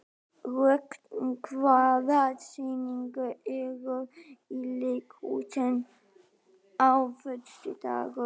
Rögn, hvaða sýningar eru í leikhúsinu á föstudaginn?